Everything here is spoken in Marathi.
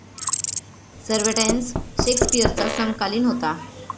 सर्व्हेन्टेस शेक्सपिअरचा समकालिन होता.